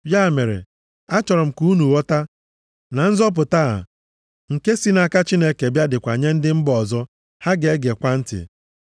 “Ya mere, a chọrọ m ka unu ghọta na nzọpụta a nke si nʼaka Chineke bịa, dịkwa nye ndị mba ọzọ, ha ga-egekwa ntị.”